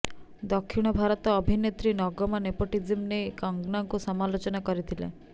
ଦକ୍ଷିଣ ଭାରତ ଅଭିନେତ୍ରୀ ନଗମା ନେପଟୋଜିମ ନେଇ କଙ୍ଗନାକୁ ସମାଲୋଚନା କରିଥିଲେ